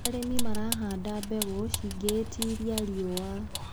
Arĩmi marahanda mbegũ cingĩtiria riũa.